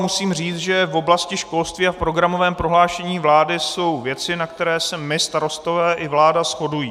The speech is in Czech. Musím říct, že v oblasti školství a v programovém prohlášení vlády jsou věci, na které se my Starostové i vláda shodujeme.